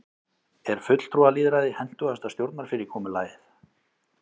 er fulltrúalýðræði hentugasta stjórnarfyrirkomulagið